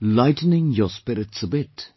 lightening your spirits a bit